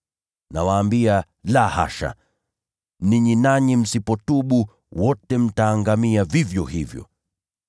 Nawaambia, la hasha! Ninyi nanyi msipotubu, wote mtaangamia vivyo hivyo.”